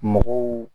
Mɔgɔw